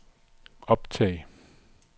optag